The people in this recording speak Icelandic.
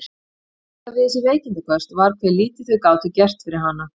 Það versta við þessi veikindaköst var hve lítið þau gátu gert fyrir hana.